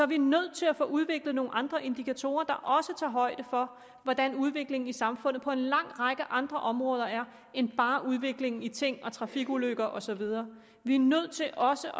vi nødt til at få udviklet nogle andre indikatorer der også tager højde for hvordan udviklingen i samfundet er på en lang række andre områder end bare udviklingen i ting og trafikulykker og så videre vi er nødt til også